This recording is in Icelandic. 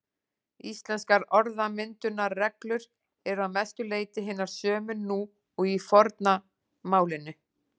Íslenskar orðmyndunarreglur eru að mestu leyti hinar sömu nú og í forna málinu.